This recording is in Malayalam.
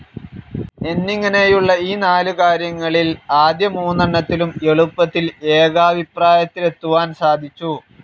എന്നിങ്ങനെയുള്ള ഈ നാലു കാര്യങ്ങളിൽ ആദ്യ മൂന്നെണ്ണത്തിലും എളുപ്പത്തിൽ ഏകാഭിപ്രായത്തിലെത്തുവാൻ സാധിച്ചു.